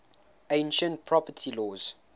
ancient property laws